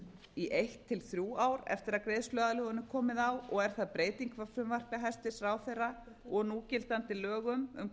í eitt til þrjú ár eftir að greiðsluaðlögun er komið á og er það breyting frá frumvarpi hæstvirts ráðherra og núgildandi lögum um